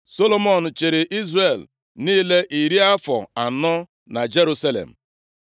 Solomọn chịrị Izrel niile iri afọ anọ na Jerusalem.